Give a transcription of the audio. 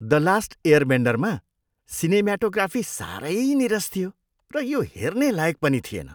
The Last Airbender मा cinematography सारै नीरस थियो र यो हेर्ने लायक पनि थिएन।